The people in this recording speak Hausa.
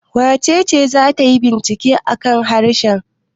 Wace ce za ta yi bincike a kan harshe?